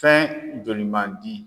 Fɛn joli mandi.